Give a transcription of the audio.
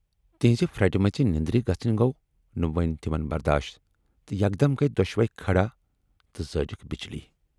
تِہٕنز پھرٹہٕ مژِ نٮ۪ندٕر گژھٕنۍ گَو نہٕ وۅنۍ تِمن برداش تہٕ یکدم گٔیہِ دۅشوے کھڑا تہٕ زٲجِکھ بِجلی۔